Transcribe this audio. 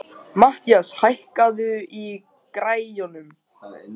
Mathías, hækkaðu í græjunum.